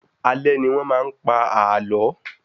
Alé ní wọ́n maá n pa àlọ́